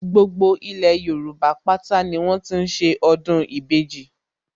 Gbogbo ilẹ̀ Yorùbá pátá ni wọ́n ti ń ṣe ọdún ìbejì